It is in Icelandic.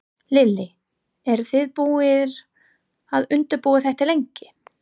Lillý: Eru þið búnir að undirbúa þetta lengi?